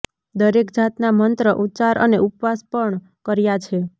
દરેક જાતના મંત્ર ઉચ્ચાર અને ઉપવાસ પણ કર્યા છે